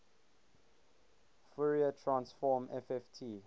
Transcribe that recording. fourier transform fft